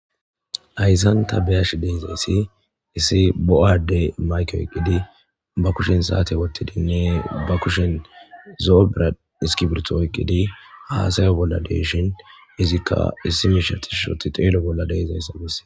Haysan ta beyeshe dizzysi issi bo'a adde mayke oykidi ba kushen sate athidi ba kushe zo'o iskirito oykidi hasaya bolla de'eshin izzika issi Misha tishi otti xello bolla dizzaysa besses.